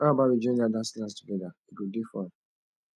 how about we join that dance class together e go dey fun